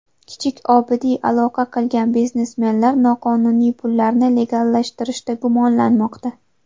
Kichik Obidiy aloqa qilgan biznesmenlar noqonuniy pullarni legallashtirishda gumonlanmoqda.